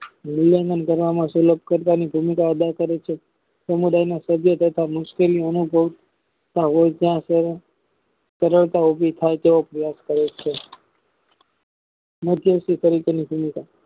સમુદાયના સભ્યો તથા મુશ્કેલી અનુભવ ત્યાં રજુ થાય ત્યાં કરે છે તેવો અભ્યાસ કરે છે માધ્ય થી સંગઠન